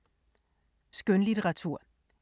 Skønlitteratur